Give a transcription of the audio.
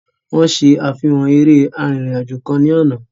Wọ́n ṣe àfihàn eré arìnrìn-àjò kan ní àná.